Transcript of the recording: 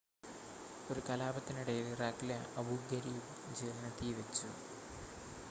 ഒരു കലാപത്തിനിടയിൽ ഇറാഖിലെ അബൂ ഗരീബ് ജയിലിന് തീവെച്ചു